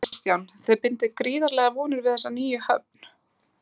Kristján: Þið bindið gríðarlegar vonir við þessa nýju höfn?